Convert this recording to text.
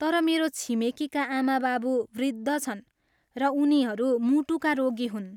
तर मेरो छिमेकीका आमाबाबु वृद्ध छन् र उनीहरू मुटुका रोगी हुन्।